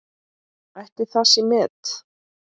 Ætli það sé met?